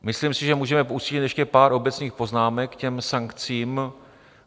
Myslím si, že můžeme pustit ještě pár obecných poznámek k těm sankcím.